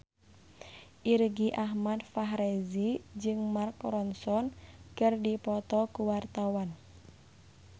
Irgi Ahmad Fahrezi jeung Mark Ronson keur dipoto ku wartawan